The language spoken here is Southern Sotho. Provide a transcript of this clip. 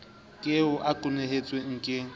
ke eo o kwenehetswe ke